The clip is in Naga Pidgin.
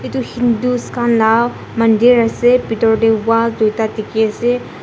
itu hindus khan lah mandir ase pitor teh wall duitah dikhi ase.